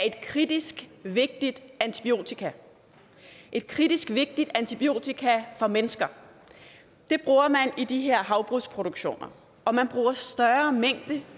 et kritisk vigtigt antibiotika et kritisk vigtigt antibiotika for mennesker det bruger man i de her havbrugsproduktioner og man bruger større mængder